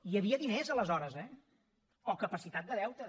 hi havia diners aleshores eh o capacitat de deute